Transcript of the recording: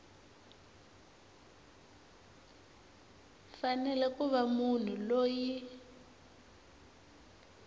fanele ku va munhu loyi